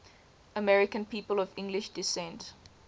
american people of english descent